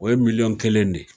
O ye miliɲɔn kelen de ye